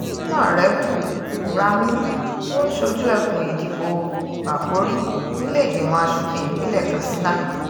ónàrẹ́bù kùramì ló ń ṣojú ẹkùn ìdìbò bákórì nílé ìgbìmọ̀ asòfin ìpínlẹ̀ katsina